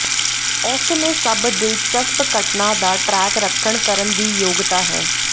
ਉਸ ਨੇ ਸਭ ਦਿਲਚਸਪ ਘਟਨਾ ਦਾ ਟਰੈਕ ਰੱਖਣ ਕਰਨ ਦੀ ਯੋਗਤਾ ਹੈ